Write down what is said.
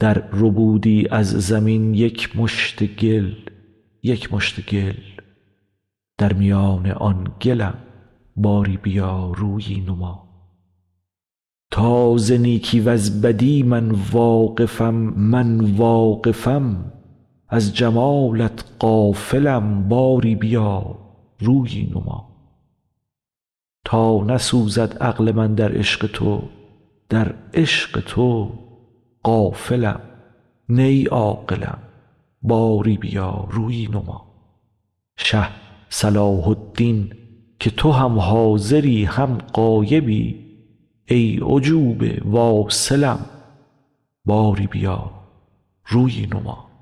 درربودی از زمین یک مشت گل یک مشت گل در میان آن گلم باری بیا رویی نما تا ز نیکی وز بدی من واقفم من واقفم از جمالت غافلم باری بیا رویی نما تا نسوزد عقل من در عشق تو در عشق تو غافلم نی عاقلم باری بیا رویی نما شه صلاح الدین که تو هم حاضری هم غایبی ای عجوبه واصلم باری بیا رویی نما